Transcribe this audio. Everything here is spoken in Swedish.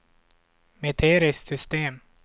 metriskt system